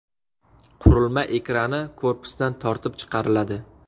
Qurilma ekrani korpusdan tortib chiqariladi.